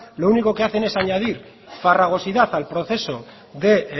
lo único que hacen es añadir farragosidad al proceso de